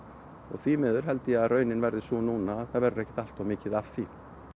því miður held ég að raunin verði sú núna að það verður ekkert allt of mikið af því